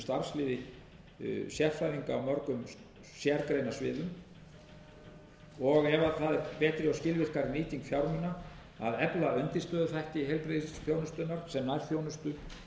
í sínu starfsliði sérfræðinga á mörgum sérgreinasviðum og ef það er betri og skilvirkari nýting fjármuna að efla undirstöðuþætti heilbrigðisþjónustunnar sem nærþjónustu